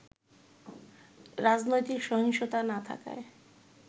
রাজনৈতিক সহিংসতা না থাকায়